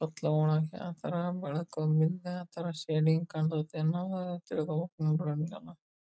ಕತ್ಲ ಒಳಗ್ ಆತರ ಬೆಳಕು ಮಿಂದೆ ಆತರ ಶೇಡಿಂಗ್ ಕಂಡತ್ ಏನ್ ನ್ವ ತಿರಗಕ್ .]